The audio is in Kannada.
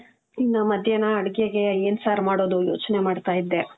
ಇನ್ನ ಮಧ್ಯಾಹ್ನ ಅಡುಗೆಗೆ ಏನ್ ಸಾರ್ ಮಾಡೋದು, ಯೋಚ್ನೆ ಮಾಡ್ತಾ ಇದ್ದೆ.